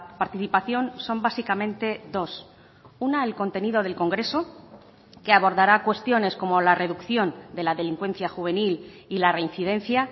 participación son básicamente dos una el contenido del congreso que abordará cuestiones como la reducción de la delincuencia juvenil y la reincidencia